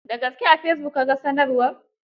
Da gaske a fesibuk ka ga sanarwar?